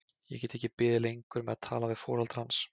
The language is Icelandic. Ég get ekki beðið lengur með að tala við foreldra hans.